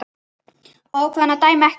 Ákvað hann að dæma ekki?